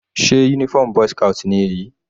Sé uniform boy's scout ni èyí?